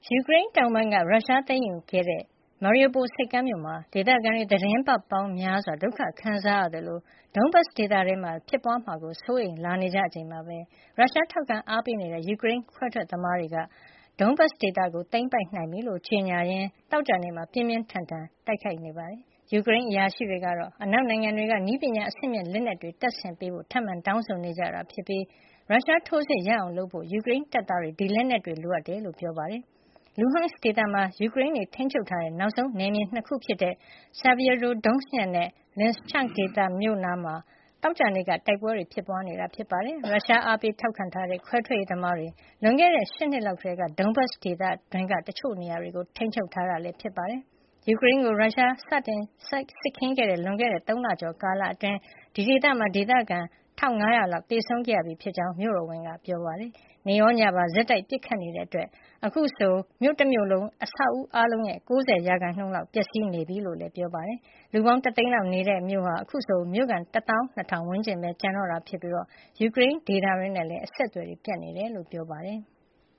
ယူကရိန်းတောင်ပိုင်းက ရုရှားသိမ်းယူခဲ့တဲ့ Mariupol ဆိပ်ကမ်းမြို့မှာ ဒေသခံတွေ သီတင်းပတ်ပေါင်းများစွာ ဒုက္ခခံစားရသလို Donbas ဒေသတွင်းမှာလည်း ဖြစ်ပွားလာမှာကို စိုးရိမ်လာနေကြချိန်မှာပဲ ရုရှားထောက်ခံအားပေးနေတဲ့ ယူကရိန်းခွဲထွက်ရေးသမားတွေက ရထားလမ်းကြောင်းအများအပြားရှိရာ ယူကရိန်းအရှေ့ပိုင်း စက်မှုလုပ်ငန်းတွေ ရှိတဲ့ Donbas ဒေသကို သိမ်းပိုက်နိုင်ပြီလို့ ကြေညာရင်း သောကြာနေ့မှာ ပြင်းပြင်းထန်ထန် ပစ်ခတ် တိုက်ခိုက်နေပါတယ်။ ယူကရိန်းအရာရှိတွေကတော့ အနောက်နိုင်ငံတွေက နည်းပညာအဆင့်မြင့် လက်နက်တွေ ထပ်ပေးကြဖို့ ထပ်မံတောင်းဆိုနေကြတာဖြစ်ပြီး ရုရှားထိုးစစ်ကို ရပ်အောင်လုပ်ဖို့ ယူကရိန်းတပ်သားတွေ ဒီလက်နက်တွေ လိုအပ်ကြောင်း ပြောပါတယ်။ Luhansk ဒေသမှာ ယူကရိန်းတွေ ထိန်းချုပ်ထားတဲ့ နောက်ဆုံးနယ်မြေ ၂ ခုဖြစ်တဲ့ Sieviero donetsk မြို့ နဲ့ Lysychansk မြို့နားမှာ သောကြာနေ့က တိုက်ပွဲတွေ ဖြစ်ပွါးနေတာပါ။ ရုရှားအားပေး ထောက်ခံထားတဲ့ ခွဲထွက်ရေးသမားတွေဟာ လွန်ခဲ့တဲ့ ၈ နှစ် လောက်ကတည်းက Donbas ဒေသတွင်းက တချို့နေရာတွေကို ထိန်းချုပ်ထားတာ ဖြစ်ပါတယ်။ ယူကရိန်းကို ရုရှားကျူးကျော် စတင် စစ်ခင်းခဲ့တဲ့ လွန်ခဲ့တဲ့ ၃ လကျော် ကာလအတွင်း Sievierodonetsk မှာ ဒေသခံ ၁၅၀၀ လောက် သေဆုံးခဲ့ရပြီး ဖြစ်ကြောင်း မြို့တော်ဝန် Oleksandr Striuk က ပြောပါတယ်။ နေ့ရောညပါ ဆက်တိုက် ပစ်ခတ်နေတာကြောင့် အခုဆို မြို့တမြို့လုံးမှာ ရှိတဲ့ အဆောက်အဦးတွေရဲ့ ၉၀ % လောက် ပျက်စီးနေပြီလို့လည်း ပြောပါတယ်။ ဒီမြို့ဟာ လူပေါင်း ၁ သိန်းလောက် နေထိုင်တဲ့ မြို့ဖြစ်ပြီး အခုဆို မြို့ခံ တသောင်း ၂ ထောင်ဝန်းကျင်လောက်ပဲ ကျန်တော့တာ ဖြစ်ပြီး ကျန်ယူကရိန်းဒေသတွေနဲ့လည်း အဆက်သွယ် ပြတ်နေတယ်လို့ ပြောပါတယ်။